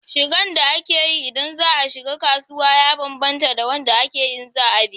Shiga da ake yi ida za a tafi kasuwa ya bambanta da na zuwa biki.